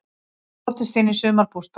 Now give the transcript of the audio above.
Brotist inn í sumarbústað